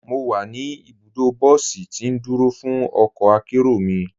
Mọ́ wà ní ibùdó bọ̀sí tì ndúró fún ọkọ̀ àkéró mi.